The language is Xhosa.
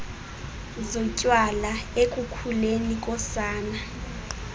zotywala ekukhuleni kosana